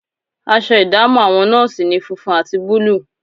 Aṣọ ìdámọ̀ àwọn nọ́ọ̀sì ni funfun àti búlúù